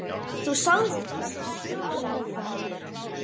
Þú sagðir þessa sögu oft.